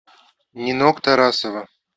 нинок тарасова